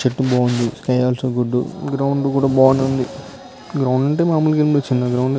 చెట్టు బాగుంది sky also good ground కూడా బానేవుంది. గ్రౌండ్ అంటే మముగానే చిన్న గ్రౌండ్ ఏ.